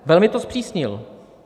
Velmi to zpřísnil.